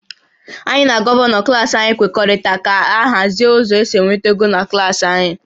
Anyị na Gọvanọ klas anyị kwekọrịtara ka a hazie ụzọ esi enweta ego na klas anyị